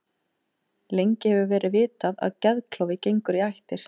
Lengi hefur verið vitað að geðklofi gengur í ættir.